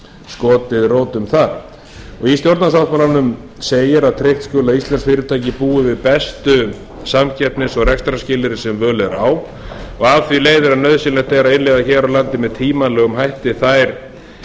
skotið rótum þar í stjórnarsáttmálanum segir að tryggt skuli að íslensk fyrirtæki búi við bestu samkeppnis og rekstrarskilyrði sem völ er á og af því leiðir að nauðsynlegt er að innleiða hér á landi með tímanlega hætti þær gerðir